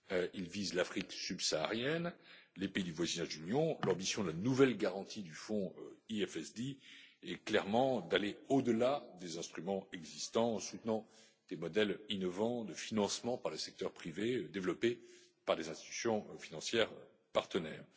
Il vise l'Afrique subsaharienne, les pays du voisinage de l'Union. L'ambition de la nouvelle garantie du fonds FEDD est clairement d'aller au delà des instruments existants en soutenant des modèles innovants de financement par le secteur privé, développés par des institutions financières partenaires.